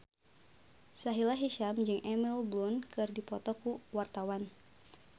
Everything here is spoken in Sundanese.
Sahila Hisyam jeung Emily Blunt keur dipoto ku wartawan